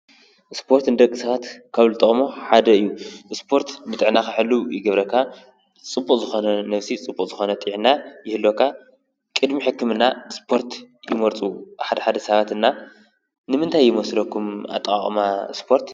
ስፖርት ንደቂ ሰባት ካብ ዝጠቅሙ ሓደ እዩ ።ስፖርት ንጥዕናካ ሕሉው ይገብረካ፣ ፅቡቅ ዝኮነ ነብሲ ፅቡቅ ዝኮነ ጥዕናን ይህልወካ ቅድሚ ሕክምና ስፖርት ይመርፁ ሓደ ሓደ ሰባት እና። ንምታይ ይመስለኩም ኣጠቓቕማ ስፖርት?